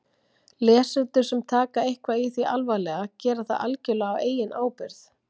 Lesendur sem taka eitthvað í því alvarlega gera það algjörlega á eigin ábyrgð.